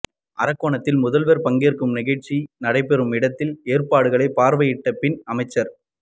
அரக்கோணத்தில் முதல்வா் பங்கேற்கும் நிகழ்ச்சி நடைபெறும் இடத்தில் ஏற்பாடுகளைப் பாா்வையிட்டபின் அமைச்சா்